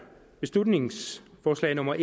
beslutningsforslag nummer